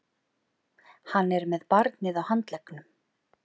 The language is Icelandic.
Hann er með barnið á handleggnum.